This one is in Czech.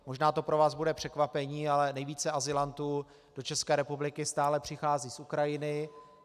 Možná to pro vás bude překvapení, ale nejvíce azylantů do České republiky stále přichází z Ukrajiny.